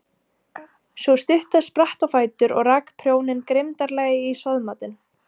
Sú stutta spratt á fætur og rak prjóninn grimmdarlega í soðmatinn.